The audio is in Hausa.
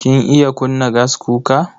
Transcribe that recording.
Kin iya kunna gaskuka?